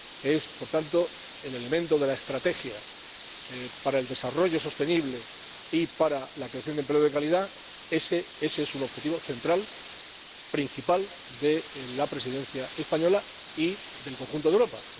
Es, por tanto, el elemento de la estrategia para el desarrollo sostenible y para la creación de empleo de calidad un objetivo central, principal, de la Presidencia española y del conjunto de Europa.